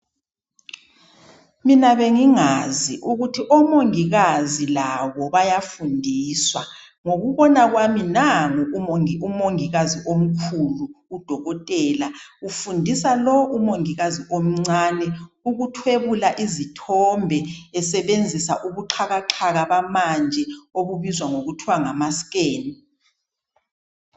Mina bengingazi ukuthi omongikazi labo bayafundiswa. Ngokubona kwami, nangu umongikazi omkhulu, udokotela, ufundisa lo umongikazi omncane, ukuthwebula izithombe, esebenzisa ubuxhakaxhaka obamanje, obubizwa ngokuthi ngamaskeni.